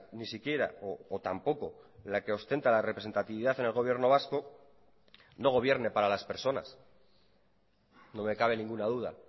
ni siquiera o tampoco la que ostenta la representatividad en el gobierno vasco no gobierne para las personas no me cabe ninguna duda